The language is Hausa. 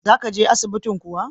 Za ka je asibintin kuwa?